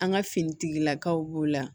An ka finitigilakaw b'o la